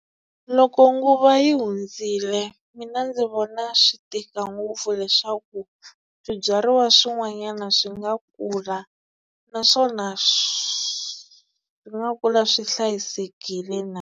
Loko nguva yi hundzile mina ndzi vona swi tika ngopfu leswaku swibyariwa swin'wanyana swi nga kula naswona swi nga kula swi hlayisekile na.